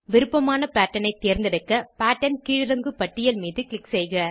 விருப்பமான பேட்டர்ன் ஐ தேர்ந்தெடுக்க பேட்டர்ன் கீழிறங்கு பட்டியல் மீது க்ளிக் செய்க